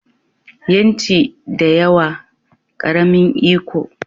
Yanci da yawa, ƙaramin iko